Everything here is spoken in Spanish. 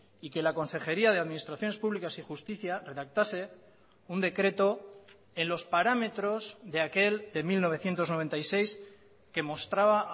y que la consejería de administraciones públicas y justicia redactase un decreto en los parámetros de aquel de mil novecientos noventa y seis que mostraba